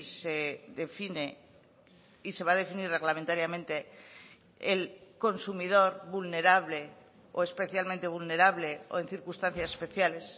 se define y se va a definir reglamentariamente el consumidor vulnerable o especialmente vulnerable o en circunstancias especiales